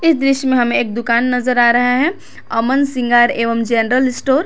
इस दृश्य में हमें एक दुकान नजर आ रहा है अमन श्रृंगार एवं जनरल स्टोर ।